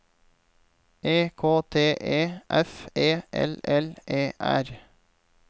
E K T E F E L L E R